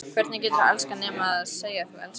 Hvernig geturðu elskað nema segja að þú elskir?